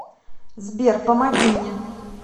сбер помоги мне